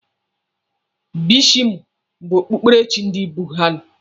Bushisimụ bụ okpukperechi ndị budha.